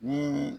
Ni